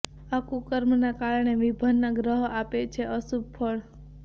આ કુકર્મના કારણે વિભિન્ન ગ્રહ આપે છે અશુભ ફળ